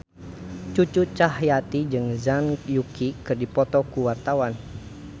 Cucu Cahyati jeung Zhang Yuqi keur dipoto ku wartawan